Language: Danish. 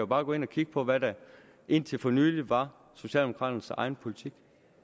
bare gå ind at kigge på hvad der indtil for nylig var socialdemokraternes egen politik